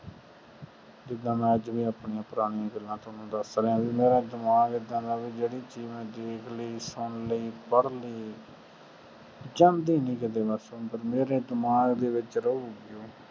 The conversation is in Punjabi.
ਜਿੰਦਾ ਮੈਂ ਅੱਜ ਵੀ ਆਪਣੀਆਂ ਪੁਰਾਣੀਆਂ ਗੱਲਾਂ ਤੁਹਾਨੂੰ ਦਸ ਰਿਹਾ ਆ ਵੀ ਮੇਰਾ ਦਿਮਾਗ ਏਦਾਂ ਦਾ ਆ ਵੀ ਜਿਹੜੀ ਚੀਜ ਮੈਂ ਦੇਖ ਲਾਇ ਸੁਨ ਲਾਇ ਪੜ੍ਹ ਲਾਇ ਜਾਂਦੀ ਨਾਈ ਕੀਤੇ ਮੇਰੇ ਦਿਮਾਗ ਚ ਰਹੂਗੀ